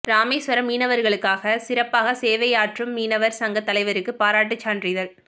ராமேசுவரம் மீனவா்களுக்காக சிறப்பாக சேவையாற்றும் மீனவா் சங்கத் தலைவருக்கு பாராட்டுச் சான்றிதழ்